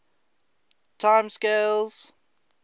time scales